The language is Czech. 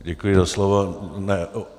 Děkuji za slovo.